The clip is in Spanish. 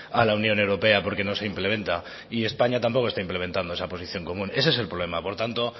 a la unión europea porque no se implementa y españa tampoco está implementando esa posición común ese es el problema por tanto